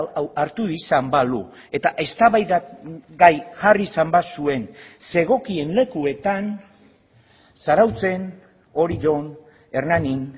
hau hartu izan balu eta eztabaidagai jarri izan bazuen zegokien lekuetan zarautzen orion hernanin